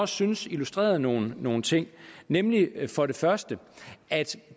syntes illustrerede nogle nogle ting nemlig for det første at